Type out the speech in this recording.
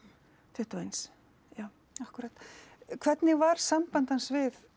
tuttugu og eins já akkúrat hvernig var samband hans við